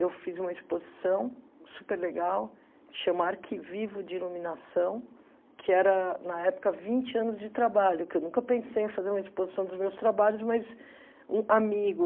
Eu fiz uma exposição superlegal, que se chama Arquivivo de Iluminação, que era, na época, vinte anos de trabalho, que eu nunca pensei em fazer uma exposição dos meus trabalhos, mas um amigo...